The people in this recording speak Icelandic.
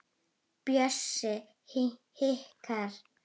Bjössi hikar.